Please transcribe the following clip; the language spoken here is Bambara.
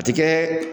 A ti kɛ